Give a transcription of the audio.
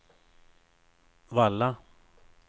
Valla